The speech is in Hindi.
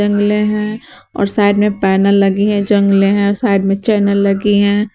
हैं और साइड में पैनल लगी है जंगले हैं साइड में चैनल लगी हैं।